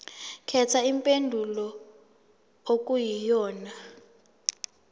khetha impendulo okuyiyona